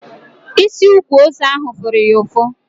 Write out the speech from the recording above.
Isi ukwu ose ahụ fụrụ ya ụfụ